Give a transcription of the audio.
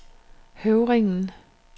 Høvringen